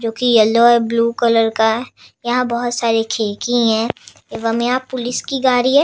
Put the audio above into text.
जो कि येलो और ब्लू कलर का। यहाँ बोहोत सारी खिड़की हैं एवं यहाँ पुलिस की गाड़ी है।